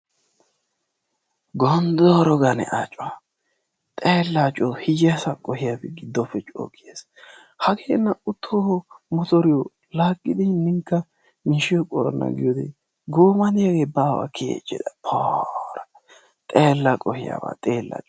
Gondooro gane a coo! xeella coo hiyeesa qohiyabi gidfoppe coo kiyes. Hagee naa"u toho motoriyo laagidi hininkka miishiyo qorana giyode gooma de'iyaagee baawa kiyichis. Poora! Xeella qohiyaba xeella.